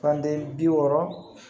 Fande bi wɔɔrɔ